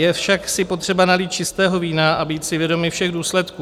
Je však si potřeba nalít čistého vína a být si vědomi všech důsledků.